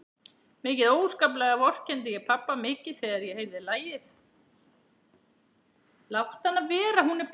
Mikið óskaplega vorkenndi ég pabba mikið þegar ég heyrði lagið.